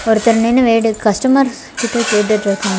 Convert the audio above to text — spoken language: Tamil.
ஒருத்தர் நின்னு வேடு கஸ்டமர்ஸ் கிட்ட கேட்டுட்ருகாரு.